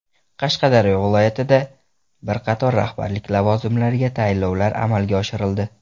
Qashqadaryo viloyatida bir qator rahbarlik lavozimlariga tayinlovlar amalga oshirildi.